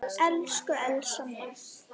Elsku Elsa mín.